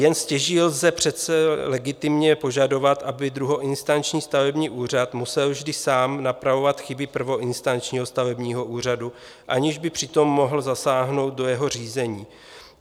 Jen stěží lze přece legitimně požadovat, aby druhoinstanční stavební úřad musel vždy sám napravovat chyby prvoinstančního stavebního úřadu, aniž by přitom mohl zasáhnout do jeho řízení.